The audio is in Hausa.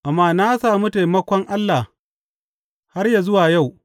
Amma na sami taimakon Allah har yă zuwa yau.